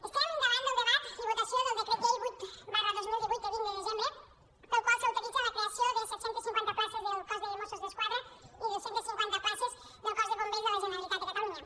estem davant del debat i votació del decret llei vuit dos mil divuit de vint de desembre pel qual s’autoritza la creació de set cents i cinquanta places del cos de mossos d’esquadra i dos cents i cinquanta places del cos de bombers de la generalitat de catalunya